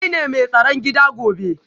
Kai ne mai tsaron gida gobe